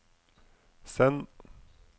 send